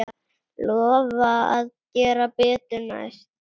Lofa að gera betur næst.